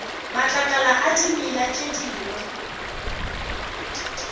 matlakala a dimela tše dingwe